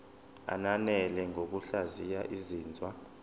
ananele ngokuhlaziya izinzwa